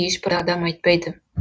ешбір адам айтпайды